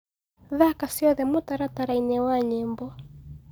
thaka cĩothe mũtarataraĩnĩ wa nyĩmbo